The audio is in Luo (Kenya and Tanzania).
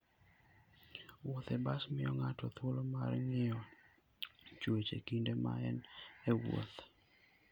Wuoth e bas miyo ng'ato thuolo mar ng'iyo chwech e kinde ma en e wuoth.